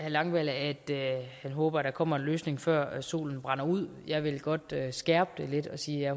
langballe at han håber der kommer en løsning før solen brænder ud jeg vil godt skærpe det lidt og sige at